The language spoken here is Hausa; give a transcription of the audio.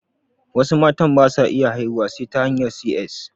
Wasu matan basu iya haihuwa sai ta hanyar 'si ƴes'